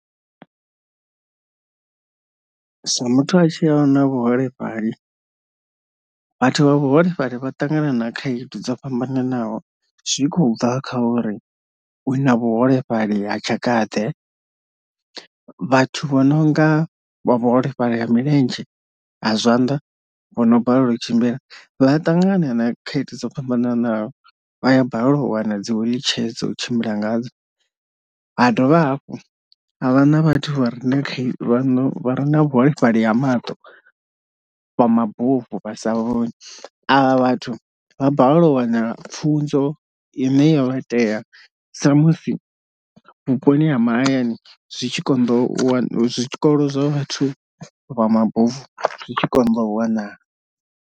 Zwa muthu a tshilaho na vhuholefhali vhathu vha vhuholefhali vha ṱangana na khaedu dzo fhambananaho zwi khou ḓa kha uri u na vhuholefhali ha tshaka ḓe, vhathu vho nonga vha vhuholefhali ha milenzhe a zwanḓa vho no balelwa u tshimbila vha ṱangana na khaedu dzo fhambananaho, vha a balelwa u wana dzi wheelchair dzo u tshimbila ngadzo, ha dovha hafhu ha vha na vhathu vha re na khe vha re na vhuholefhali ha maṱo vha mabufu vhasa vhoni, avha vhathu vha balelwa u waneliwa pfunzo ine yo vha tea sa musi vhuponi ha mahayani zwi tshi konḓa u wa zwikolo zwa vhathu vha mabofu zwi tshi konḓa u wanala.